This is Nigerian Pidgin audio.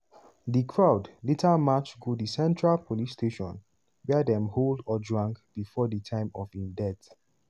di crowd later march go di central police station wia dem hold ojwang bifor di time of im death.